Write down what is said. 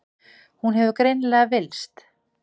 Hún hefur greinilega villst.